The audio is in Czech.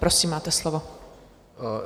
Prosím, máte slovo.